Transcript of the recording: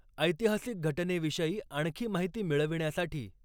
ऐतिहासिक घटनेविषयी आणखी माहिती मिळविण्यासाठी